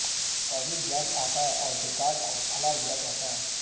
तभी गैफ आता है और डेकार्ड को भलाबुरा कहता है